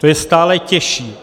To je stále těžší.